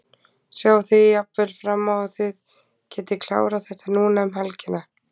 Sjáið þið jafnvel fram á að þið getið klárað þetta núna um helgina?